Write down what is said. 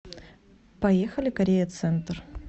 поехали корея центр